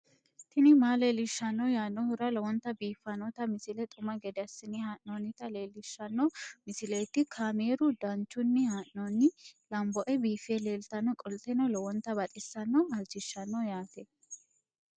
tini maa leelishshanno yaannohura lowonta biiffanota misile xuma gede assine haa'noonnita leellishshanno misileeti kaameru danchunni haa'noonni lamboe biiffe leeeltannoqolten lowonta baxissannoe halchishshanno yaate